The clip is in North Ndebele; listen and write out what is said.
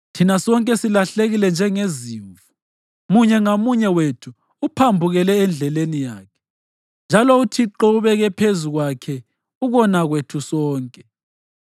Thina sonke silahlekile njengezimvu, munye ngamunye wethu uphambukele endleleni yakhe; njalo uThixo ubeke phezu kwakhe ukona kwethu sonke.